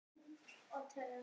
Mótmæla sölu aflaheimilda